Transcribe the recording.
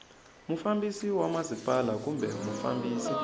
mufambisi wa masipala kumbe mufambisi